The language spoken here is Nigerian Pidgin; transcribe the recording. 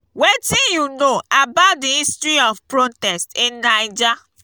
wetin you know about di history of protest in naija?